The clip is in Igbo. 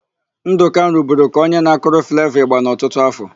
Ndụka ruburu ka onye na-akụrụ Flevọ ị̀gbà n'ọtụtụ áfọ̀.